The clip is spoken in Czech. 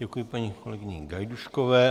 Děkuji paní kolegyni Gajdůškové.